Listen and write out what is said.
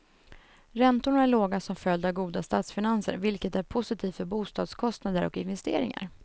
Räntorna är låga som följd av goda statsfinanser, vilket är positivt för bostadskostnader och investeringar.